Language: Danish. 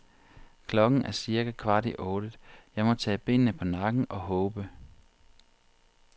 Klokken er cirka kvart i otte, jeg må tage benene på nakken og håbe.